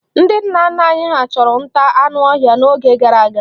Ndị nna nna anyị ha chụrụ nta anụ ọhịa n'oge gara aga.